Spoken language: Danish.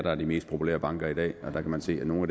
er de mest populære banker i dag og der kan man se at nogle af